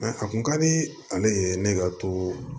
a kun ka di ale ye ne ka to